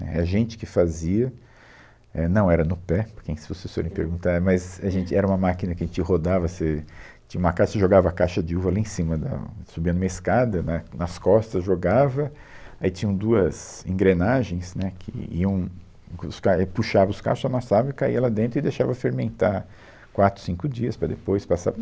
Éh, a gente que fazia, éh, não era no pé, por que se vocês forem perguntar, mas a gente, era uma máquina que a gente rodava, você tinha uma caixa, você jogava a caixa de uva lá em cima da, subia numa escada, né, nas costas jogava, aí tinham duas engrenagens, né, que iam, com os cai, e puxava os cachos, amassava e caía lá dentro e deixava fermentar quatro, cinco dias para depois passar